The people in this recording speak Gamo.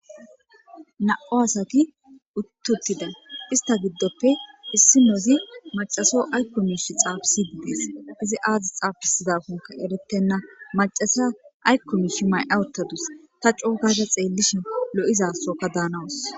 Na7u asaki uttuttida ista giddoppe issi nozi macaso aykko miishi xaafisidiidees izi aazi xaafisizakonka erettenna macasa aykkomishi may'a uttadus ta coo gada xeellishe lo'izasoka daanawus.